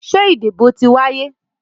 Ṣé ìdìbò ti wáyé?